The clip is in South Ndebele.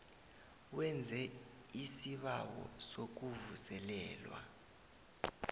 wenze isibawo sokuvuselelwa